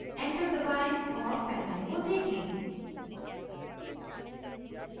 enter दबाएं और panel को देखें